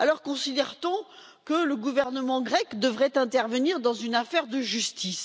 Considère t on alors que le gouvernement grec devrait intervenir dans une affaire de justice?